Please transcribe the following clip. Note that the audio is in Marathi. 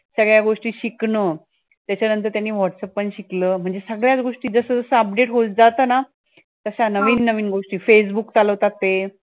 सगळ्या गोष्टी शिकणं त्याच्यानंतर त्यांनी whatsapp पण शिकलं म्हणजे सगळ्या च गोष्टी, जसं जसं update होत जातं ना तश्या नवीन नवीन गोष्टी, facebook चालवतात ते